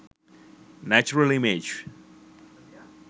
natural image